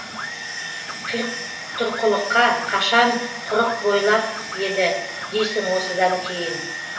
қитұрқылыққа қашан құрық бойлап еді дейсің осыдан кейін